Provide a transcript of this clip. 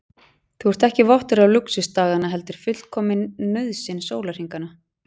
Þú ert ekki vottur af lúxus daganna heldur fullkomin nauðsyn sólarhringanna.